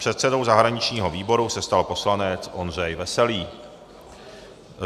Předsedou zahraničního výboru se stal poslanec Ondřej Veselý.